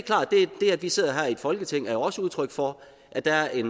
er at vi sidder her i folketinget jo også er udtryk for at der er